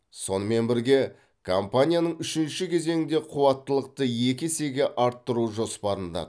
сонымен бірге компанияның үшінші кезеңде қуаттылықты екі есеге арттыру жоспарында